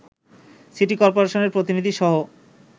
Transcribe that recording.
city কর্পোরেশনের প্রতিনিধিসহ